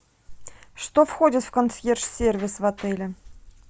что входит в консьерж сервис в отеле